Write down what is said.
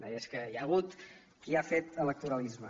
deia és que hi ha hagut qui ha fet electoralisme